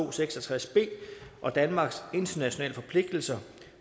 og seks og tres b og danmarks internationale forpligtelser